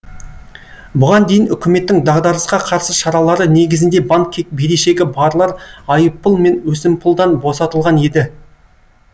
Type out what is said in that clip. бұған дейін үкіметтің дағдарысқа қарсы шаралары негізінде банкке берешегі барлар айыппұл мен өсімпұлдан босатылған еді